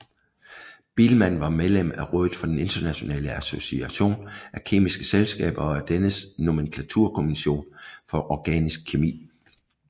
Biilmann var medlem af rådet for den internationale association af kemiske selskaber og af dennes nomenklaturkommission for organisk kemi